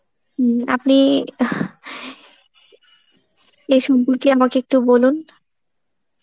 হম আপনি এই সম্পর্কে আমাকে একটু বলুন.